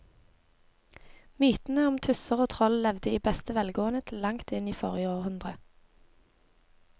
Mytene om tusser og troll levde i beste velgående til langt inn i forrige århundre.